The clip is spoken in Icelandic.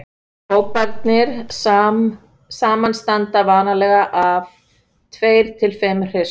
hóparnir samanstanda vanalega af tveir til fimm hryssum